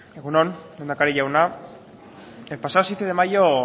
egun on lehendakari jauna el pasado siete de mayo